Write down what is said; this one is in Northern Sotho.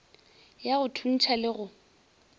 ya go thuntšha le go